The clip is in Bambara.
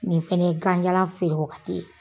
Ni fɛnɛ ye gan jalan feere waagati ye.